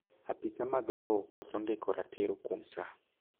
apisa mag lowo koso ndiko ratiro kuom saa